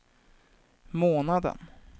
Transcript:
månaden